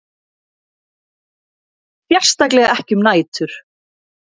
Sérstaklega ekki um nætur.